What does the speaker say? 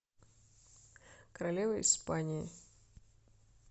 королева испании